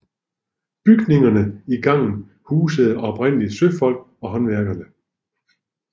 Bygningerne i gangen husede oprindelig søfolk og håndværkere